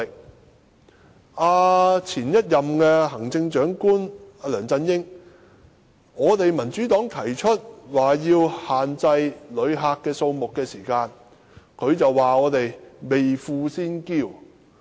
當民主黨向前任行政長官梁振英提出限制旅客數目時，他便指我們"未富先驕"。